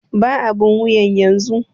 Ban abun wuyan yanzu!